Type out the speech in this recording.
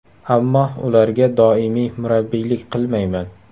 Ammo ularga doimiy murabbiylik qilmayman.